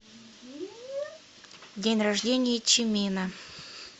день рождения чимина